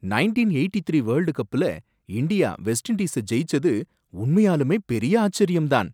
Nineteen eighty three world கப்ல India West Indies ஜெயிச்சது உண்மையாலுமே பெரிய ஆச்சரியம் தான்!